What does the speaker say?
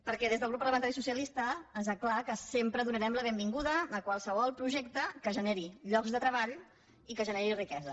perquè des del grup parlamentari socialista està clar que sempre donarem la benvinguda a qualsevol projecte que generi llocs de treball i que generi riquesa